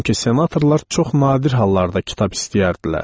Çünki senatorlar çox nadir hallarda kitab istəyərdilər.